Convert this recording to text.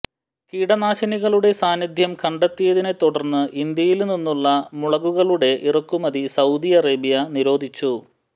കീടനാശിനികളുടെ സാന്നിദ്ധ്യം കണ്ടെത്തിയതിനെ തുടര്ന്ന് ഇന്ത്യയില് നിന്നുള്ള മുളകുകളുടെ ഇറക്കുമതി സൌദി അറേബ്യ നിരോധിച്ചു